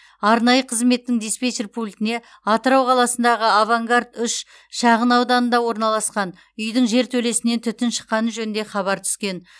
арнайы қызметтің диспетчер пультіне атырау қаласындағы авангард үш шағынауданында орналасқан үйдің жертөлесінен түтін шыққаны жөнінде хабар түскен